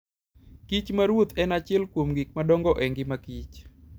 Kich maruoth en achiel kuom gik madongo e ngima kich.